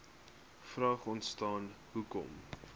vraag ontstaan hoekom